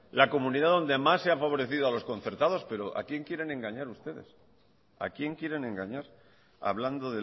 la comunidad donde más se ha favorecido a los concertados pero a quién quieren engañar ustedes a quién quieren engañar hablando